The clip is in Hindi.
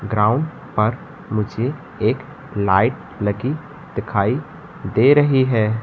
ग्राउंड पर मुझे एक लाइट लगी दिखाई दे रही है।